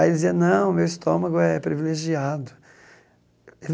Aí ele dizia, não, meu estômago é privilegiado.